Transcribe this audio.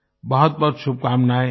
बहुत बहुत शुभकामनाएं